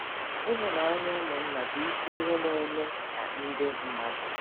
Ịhụnanya ụmụnna bụ isi ihe na-eme ka ndị mmadụ.